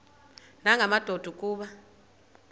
nanga madoda kuba